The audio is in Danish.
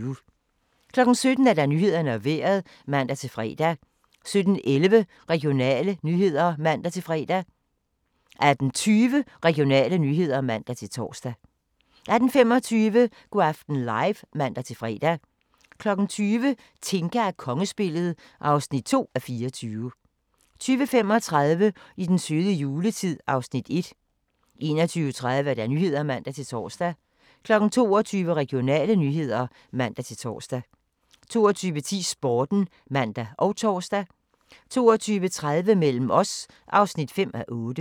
17:00: Nyhederne og Vejret (man-fre) 17:11: Regionale nyheder (man-tor) 18:20: Regionale nyheder (man-fre) 18:25: Go' aften live (man-fre) 20:00: Tinka og kongespillet (2:24) 20:35: I den søde juletid (Afs. 1) 21:30: Nyhederne (man-tor) 22:00: Regionale nyheder (man-tor) 22:10: Sporten (man og tor) 22:30: Mellem os (5:8)